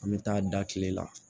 An bɛ taa da kile la